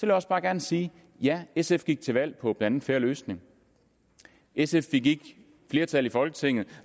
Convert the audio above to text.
jeg også bare gerne sige ja sf gik til valg på blandt andet fair løsning sf fik ikke flertal i folketinget